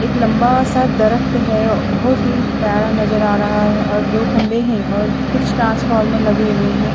एक लम्बा सा दरख्त है बोहोत ही प्यारा नज़र आ रहा है और दो खम्बे है और कुछ ट्रांसफॉर्मल (ट्रांसफार्मर) लगे हुए है।